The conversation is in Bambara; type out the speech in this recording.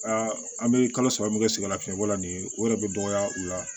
an bɛ kalo saba min kɛ siga lafiyɛnbɔ la nin ye o yɛrɛ bɛ dɔgɔya u la